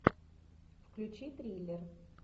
включи триллер